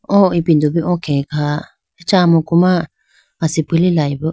o ipindo do bi o khege kha acha amuku ma asipi lilayibo.